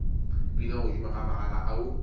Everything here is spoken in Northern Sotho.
bina godimo ga magala ao